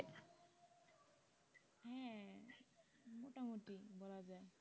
হ্যা মোটামুটি বলা যায়